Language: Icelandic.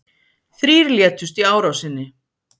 Þrír létust í árásinni